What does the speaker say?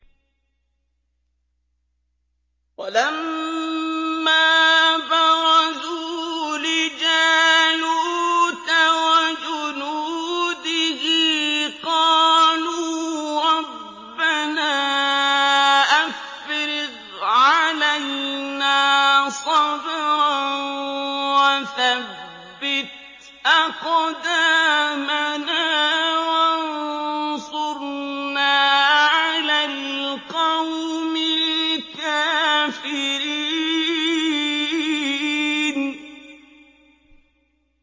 وَلَمَّا بَرَزُوا لِجَالُوتَ وَجُنُودِهِ قَالُوا رَبَّنَا أَفْرِغْ عَلَيْنَا صَبْرًا وَثَبِّتْ أَقْدَامَنَا وَانصُرْنَا عَلَى الْقَوْمِ الْكَافِرِينَ